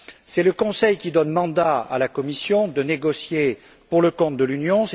C'est le Conseil qui donne mandat à la Commission pour négocier pour le compte de l'Union.